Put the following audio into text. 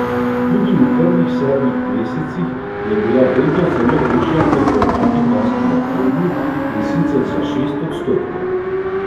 Tudi v prvih sedmih mesecih je bila vrednost zalog višja kot v enakem lanskem obdobju, in sicer za šest odstotkov.